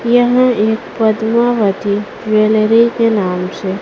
यह एक पद्मावती ज्वेलरी के नाम से--